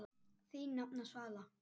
Þín nafna, Svala.